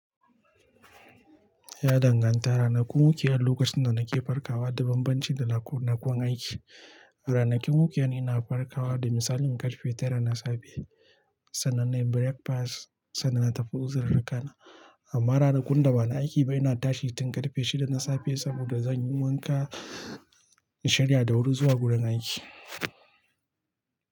Ya danganta. Ranakun weekend lokacin da nake farkawa da banbanci da ranakun aiki. A ranakun weekend ina farkawa da misalin karfe tara na safe sannan nayi breakfast sannan na tafi ozirirruka na. Amma ranakun da ba na aiki ba ina tashi tun karfe shida na safe saboda zan yi wanka, in sharya da wuri zuwa wurin aiki.